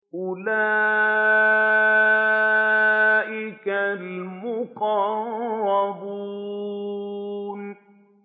أُولَٰئِكَ الْمُقَرَّبُونَ